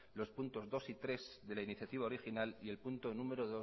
los puntos dos y tres de la iniciativa original y el punto número